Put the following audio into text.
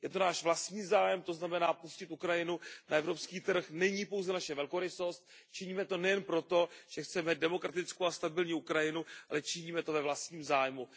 Je to náš vlastní zájem, to znamená, pustit Ukrajinu na evropský trh není pouze naše velkorysost, činíme to nejen proto, že chceme demokratickou a stabilní Ukrajinu, ale činíme to ve vlastním zájmu.